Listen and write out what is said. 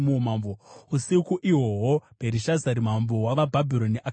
Usiku ihwohwo Bherishazari, mambo wavaBhabhironi akaurayiwa,